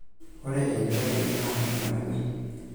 Ore enkitok enye naa emalimui.